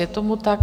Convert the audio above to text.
Je tomu tak.